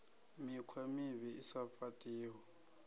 mikhwa mivhi i sa fhaṱiho